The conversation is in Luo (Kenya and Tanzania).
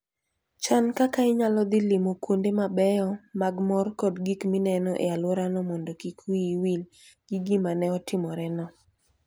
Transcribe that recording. Chan kaka inyalo dhi limo kuonde mabeyo mag mor kod gik mineno e alworano mondo kik wiyi wil gi gima ne otimoreno.